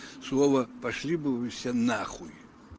слово пошли бы вы все нахуй